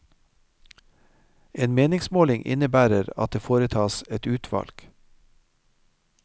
En meningsmåling innebærer at det foretas et utvalg.